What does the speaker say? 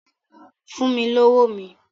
Fún mi lówó mi!